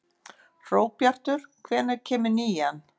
Hróbjartur, hvenær kemur nían?